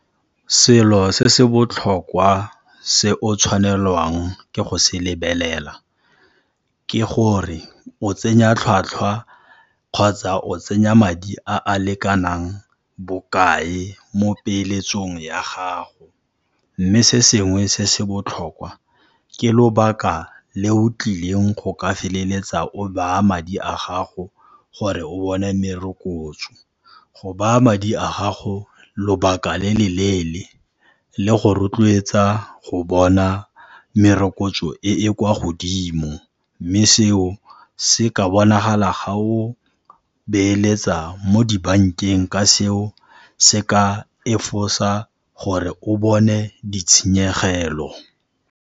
Selo se se botlhokwa se o tshwanelwang ke go se lebelela, ke gore o tsenya tlhwatlhwa kgotsa o tsenya madi a a lekanang bokae mo peeletsong ya gago, mme se sengwe se se botlhokwa, ke lobaka le o tlileng go ka feleletsa o baya madi a gago gore o bone merokotso. Go baya madi a gago lobaka le le leele, le go rotloetsa go bona merokotso e e kwa godimo, mme seo se ka bonagala ga o beeletsa mo dibankeng ka seo se ka efosa gore o bone ditshenyegelo